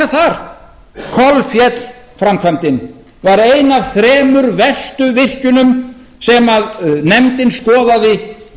þar kolféll framkvæmdin var ein af þremur verstu virkjunum sem nefndin skoðaði við